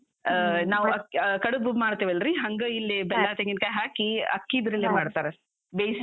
ಆ, ನಾವ್ ಕಡುಬು ಮಾಡ್ತೆವಲ್ಲ್ರಿ? ಹಂಗ ಇಲ್ಲಿ ತೆಂಗಿನ್ಕಾಯಿ ಹಾಕಿ, ಅಕ್ಕಿದ್ರಲ್ಲೇ ಮಾಡ್ತಾರ, ಬೇಯ್ಸಿ.